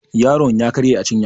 yaron ya karye a cinya